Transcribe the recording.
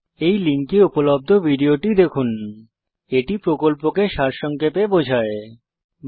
এই লিঙ্কে উপলব্ধ ভিডিওটি দেখুন httpspokentutorialorgWhat is a Spoken Tutorial এটি কথ্য টিউটোরিয়াল প্রকল্পকে সারসংক্ষেপে বোঝায়